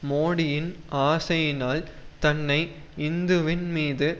மோடியின் ஆசையினால் தன்னை இந்துவின் மீது